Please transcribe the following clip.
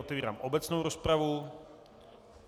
Otevírám obecnou rozpravu.